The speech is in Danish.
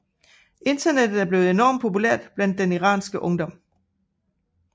Internettet er blevet enormt populære blandt den iranske ungdom